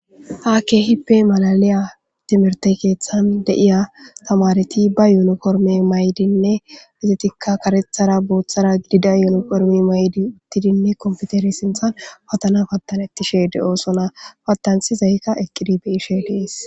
ha kehippe malaliya timirte keeththan de7iya tamareti ba yuniforme maydinne bizetikka karethara booththara gidida yuniformi maydi uttidinne komputeri sinthan patana pattanettishe de7oosona patantsi zaykka eqqidi be ishe dees